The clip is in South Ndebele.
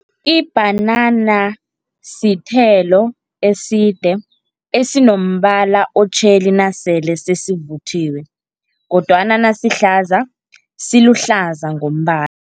Ibhanana sithelo eside, esinombala otjheli nasele sesivuthiwe kodwana nasihlaza, siluhlaza ngombana.